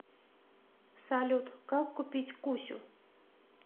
салют как купить кусю